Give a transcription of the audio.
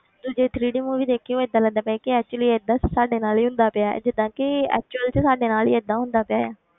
ਤੂੰ ਜੇ three D movie ਦੇਖੀ ਹੋਏ ਏਦਾਂ ਲੱਗਦਾ ਪਿਆ ਸੀ ਕਿ actually ਏਦਾਂ ਸਾਡੇ ਨਾਲ ਹੀ ਹੁੰਦਾ ਪਿਆ ਹੈ ਜਿੱਦਾਂ ਕਿ actual 'ਚ ਸਾਡੇ ਨਾਲ ਹੀ ਏਦਾਂ ਹੁੰਦਾ ਪਿਆ ਹੈ,